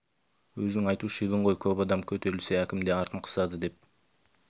өзің айтушы едің ғой көп адам көтерілсе әкім де артын қысады деп